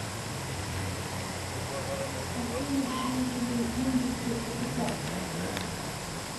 афина биржевые индексы это как